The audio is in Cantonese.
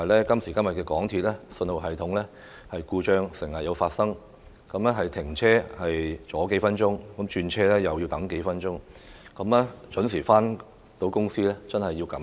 今時今日鐵路服務信號系統故障時有發生，停車阻延數分鐘，轉車又要等數分鐘，市民若能準時回到公司真的要感恩。